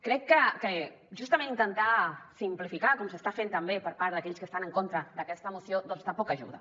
crec que justament intentar simplificar com s’està fent també per part d’aquells que estan en contra d’aquesta moció doncs tampoc ajuda